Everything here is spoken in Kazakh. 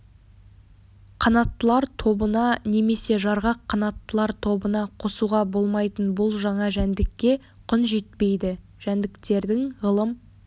қанаттылар тобына немесе жарғақ қанаттылар тобына қосуға болмайтын бұл жаңа жәндікке құн жетпейді жәндіктердің ғылым